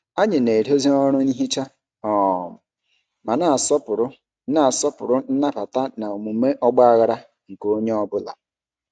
Anyị na-edozi ọrụ nhicha um ma na-asọpụrụ na-asọpụrụ nnabata na omume ọgbaghara nke onye ọ bụla.